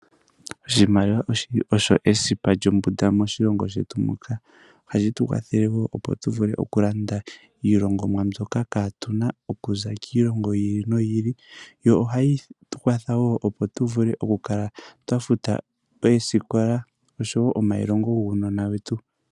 Oshimaliwa oshili osho esipa lyombunda moshilongo shetu muka. Ohashi tukwathele wo opo tuvule okulanda iilongomwa mbyoka kaatuna okuza kiilongo yiili noyiili. Yo ohayi tukwatha woo opo tuvule okukala twa futa oosikola oshowoo omailongo guunona wetu.